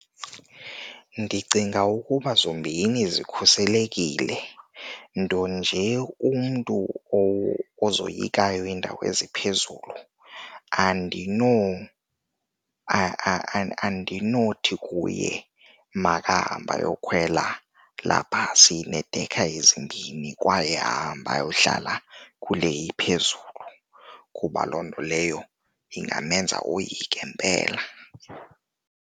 Ndicinga ukuba zombini zikhuselekile, nto nje umntu ozoyikayo iindawo eziphezulu andinothi kuye makahambe ayokhwela laa bhasi ineedekha ezimbini kwaye ahambe ayohlala kule iphezulu kuba loo nto leyo ingamenza oyike mpela.